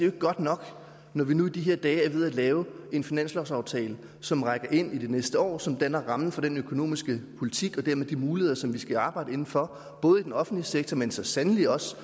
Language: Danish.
ikke godt nok når vi nu i de her dage er ved at lave en finanslovsaftale som rækker ind i det næste år og som danner rammen om den økonomiske politik og dermed de muligheder som vi skal arbejde inden for både i den offentlige sektor men så sandelig også